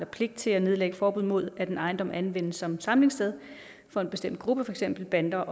pligt til at nedlægge forbud mod at en ejendom anvendes som samlingssted for en bestemt gruppe feks en bande